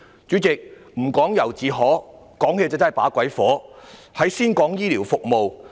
主席，"不講由自可，講起把鬼火"，我先談醫療服務。